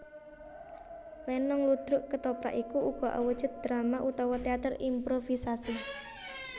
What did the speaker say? Lenong ludruk kethoprak iku uga awujud drama utawa téater improvisasi